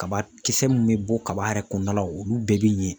Kabakisɛ mun bɛ bɔ kaba yɛrɛ kɔnɔna la olu bɛɛ bɛ ɲɛ